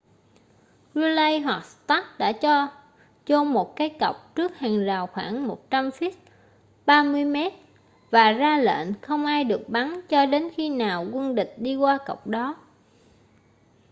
gridley hoặc stark đã cho chôn một cái cọc trước hàng rào khoảng 100 feet 30 m và ra lệnh không ai được bắn cho đến khi nào quân địch đi qua cọc đó